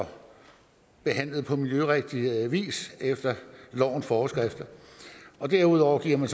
og behandlet på miljørigtig vis efter lovens forskrifter derudover giver